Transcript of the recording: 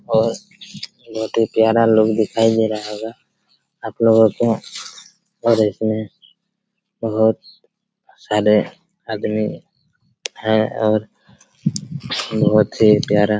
और नौ दो ग्यारह लोग दिखाई दे रहा होगा आपलोगों को पर इसमें बहोत सारे आदमी है और बहुत ही प्यारा--